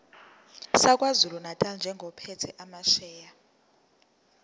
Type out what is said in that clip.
sakwazulunatali njengophethe amasheya